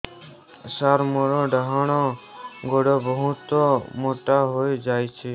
ସାର ମୋର ଡାହାଣ ଗୋଡୋ ବହୁତ ମୋଟା ହେଇଯାଇଛି